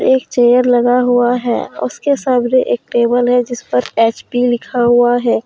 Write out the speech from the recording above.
एक चेयर लगा हुआ है उसके सामने एक टेबल है जिस पर एच_पी लिखा हुआ है।